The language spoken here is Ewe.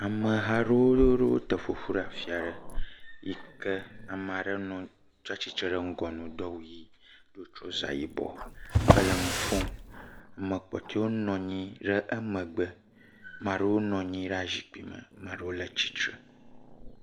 Ameha aɖewo ɖo te ƒoƒu ɖe teƒe aɖe yi kea me aɖe tsia tsitre ɖe ŋgɔ na wo do trɔza yibɔ hele nu ƒom. Ame kpɔtɔewo nɔ anyi le amegbe, ame aɖewo nɔ anyi ɖe zikpui me ame aɖewo le tsitre.